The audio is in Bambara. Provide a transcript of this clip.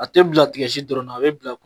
A te bila tigɛsi dɔrɔnna a be bila